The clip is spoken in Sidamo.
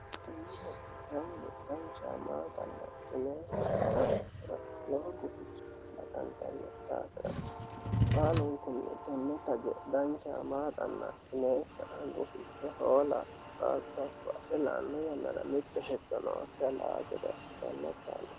Tage maaxa hoongiha ikkiro lowo guficho qalaqqano daafo tenne maaxa dancha ikkitanno.